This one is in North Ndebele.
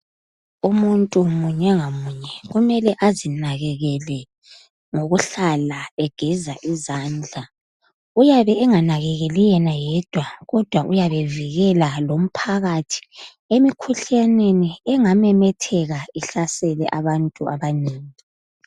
Umuntu munye ngamunye kumele azinakekele ngokuhlala egeza izandla. Uyabe enganakakeli yena yedwa kodwa uyabe evilela lomphakathi emkhuhlaneni engamemetheka ihlasele abantu abanengi.